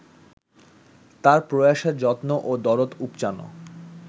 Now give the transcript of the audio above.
তাঁর প্রয়াসে যত্ন ও দরদ উপচানো